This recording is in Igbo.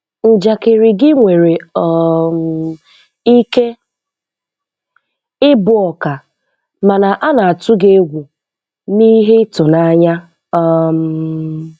Njakịrị gị nwere um ike ịbụ ọka, mana a na-atụ gị egwu na ihe ịtụnanya. um